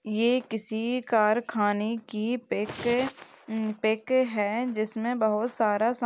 ये किसी कारखाने की पिक है म- पिक है जिसमें बहुत सारा सा --